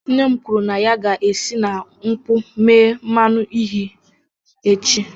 Nne m kwuru na ya ga-esi na nkwụ mee mmanụ uhie echi